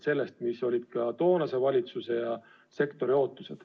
See oli toonase valitsuse ja kogu sektori ootus.